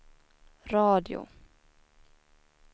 radio